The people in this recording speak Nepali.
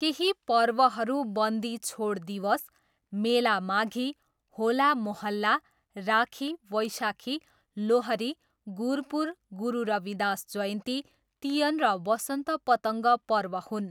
केही पर्वहरू बन्दी छोड दिवस, मेला माघी, होला मोहल्ला, राखी, वैशाखी, लोहरी, गुरपुर, गुरु रविदास जयन्ती, तियन र वसन्त पतङ्ग पर्व हुन्।